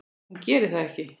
Hún gerir það ekki.